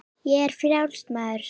Ég er frjáls maður!